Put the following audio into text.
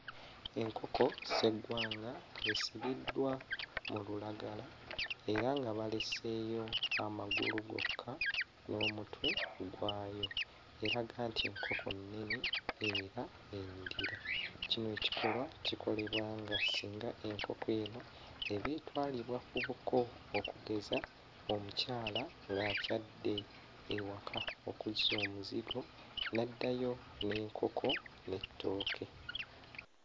Enkoko sseggwanga esibiddwa mu lulagala era nga baleseeyo amagulu gokka n'omutwe gwayo, eraga nti nkoko nnene era enyirira. Kino kikolwa kikolebwanga singa enkoko eno eba etwalibwa ku buko, okugeza omukyala ng'akyadde ewaka okuzza omuzigo n'addayo n'enkoko n'ettooke.